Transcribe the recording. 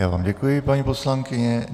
Já vám děkuji, paní poslankyně.